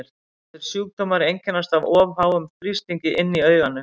þessir sjúkdómar einkennast af of háum þrýstingi inni í auganu